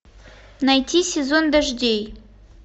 найти сезон дождей